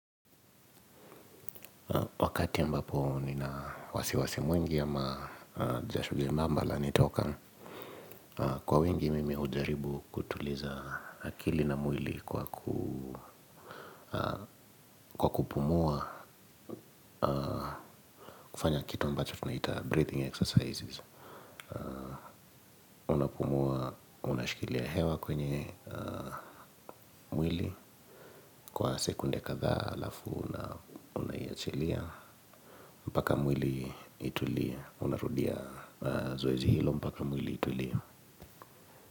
Wakati ambapo nina wasiwasi mwingi ama jasho lemambala lanitoka kwa wingi mimi hujaribu kutuliza akili na mwili kwa kupumua kufanya kitu ambacho tunaita breathing exercises unapumua unashikilia hewa kwenye mwili kwa sekunde kadhaa alafu unaiachilia mpaka mwili itulie unarudia zoezi hilo mpaka mwili itulie.